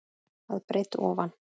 að breidd ofan.